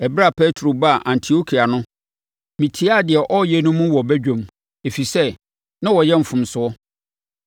Ɛberɛ a Petro baa Antiokia no, metiaa deɛ ɔreyɛ no mu wɔ badwa mu, ɛfiri sɛ, na ɔreyɛ mfomsoɔ.